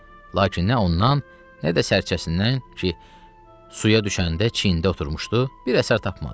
Lakin nə ondan, nə də sərcəsindən ki, suya düşəndə çiynində oturmuşdu, bir əsər tapmadı.